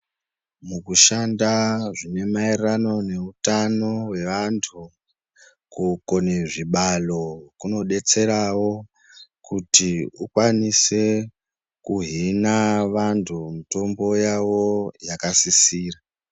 Mukushanda zvine mayererano neutano hwevantu, kukone zvibalo kunodetserawo kuti ukwanise kuhina vantu mutombo yavo yakasisira.